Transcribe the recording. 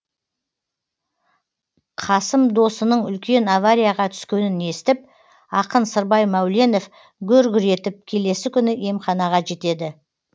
қасым досының үлкен аварияға түскенін естіп ақын сырбай мәуленов гүр гүр етіп келесі күні емханаға жетеді